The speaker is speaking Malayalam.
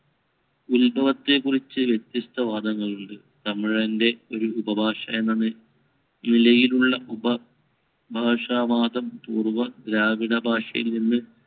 ഉത്ഭവത്തെക്കുറിച്ച് വ്യത്യസ്‌ത വാദങ്ങളുണ്ട്. തമിഴിന്‍റെ ഒരു ഉപഭാഷയെന്ന നിലയിലുള്ള ഉപ ഭാഷാവാദം പൂർവ ദ്രാവിഡ ഭാഷയിൽനിന്ന്